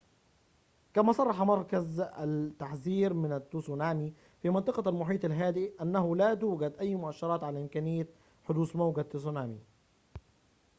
كما صرح مركز التحذير من التسونامي في منطقة المحيط الهادئ أنه لا توجد أي مؤشرات على إمكانية حدوث موجة تسونامي